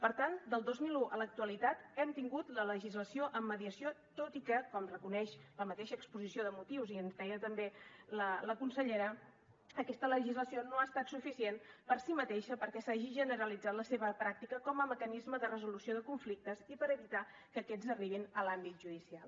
per tant del dos mil un a l’actualitat hem tingut la legislació en mediació tot i que com reconeix la mateixa exposició de motius i ens ho deia també la consellera aquesta legislació no ha estat suficient per si mateixa perquè s’hagi generalitzat la seva pràctica com a mecanisme de resolució de conflictes i per evitar que aquests arribin a l’àmbit judicial